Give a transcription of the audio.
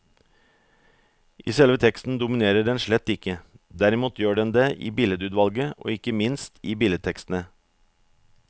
I selve teksten dominerer den slett ikke, derimot gjør den det i billedutvalget og ikke minst i billedtekstene.